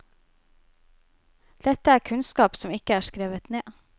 Dette er kunnskap som ikke er skrevet ned.